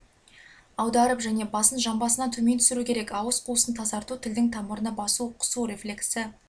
аударып және басын жамбасынан төмен түсіру керек ауыз қуысын тазарту тілдің тамырына басу құсу рефлексі